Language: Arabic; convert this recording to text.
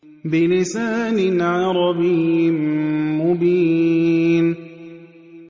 بِلِسَانٍ عَرَبِيٍّ مُّبِينٍ